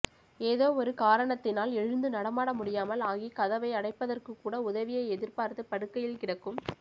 ஏதோ ஒரு காரணத்தினால் எழுந்து நடமாட முடியாமல் ஆகி கதவை அடைப்பதற்குக்கூட உதவியை எதிர்பார்த்து படுக்கையில் கிடக்கும்